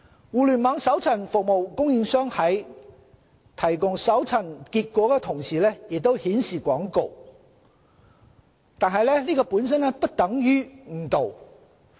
互聯網搜尋服務供應商在提供搜尋結果時同時顯示廣告，本身並不等同誤導。